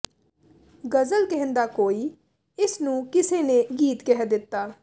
ਗਜ਼ਲ ਕਹਿੰਦਾ ਕੋਈ ਇਸ ਨੂੰ ਕਿਸੇ ਨੇ ਗੀਤ ਕਹਿ ਦਿੱਤਾ